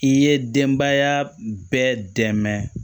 I ye denbaya bɛɛ dɛmɛ